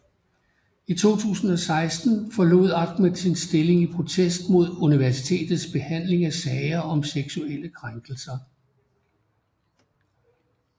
I 2016 forlod Ahmed sin stilling i protest mod universitets behandling af sager om seksuelle krænkelser